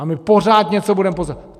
A my pořád něco budeme posouvat.